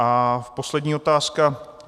A poslední otázka.